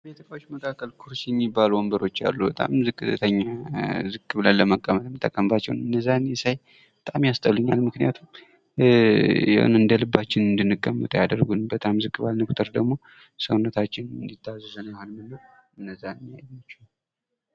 በቤት እቃዎች መካከል ኩርሲ ሚባሉ ወንበሮች አሉ ። በጣም ዝቅተኛ ዝቅ ብለን ለመቀመጥ ምንጠቀምባቸው የዛኔ ሳይ በጣም ያስጠሉኛል ምክንያቱም የሆነ እንደልባችን እንድንቀመጥ አያደርጉንም ።በጣም ዝቅ ባልነን ቁጥር ደግሞ ሰውነታችን እንዲታዘዝልን አይሆንልንም ።